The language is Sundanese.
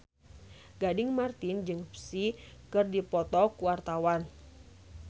Gading Marten jeung Psy keur dipoto ku wartawan